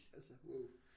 Altså wow